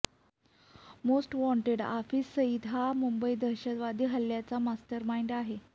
most wanted Hafiz Saeed हा मुंबई दहशतवादी हल्ल्याचा मास्टरमाईंड आहे